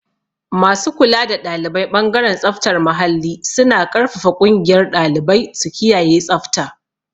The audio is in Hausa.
Masu kula da ɗalibai ɓangaren tsaftar muhalli suna ƙarfafa ƙungiyar ɗalibai su kiyaye tsabta.